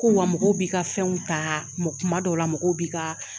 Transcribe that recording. Ko wa mɔgɔw bi ka fɛnw ta kuma dɔw la mɔgɔw bi ka